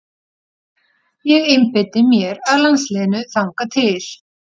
Ég einbeiti mér að landsliðinu þangað til.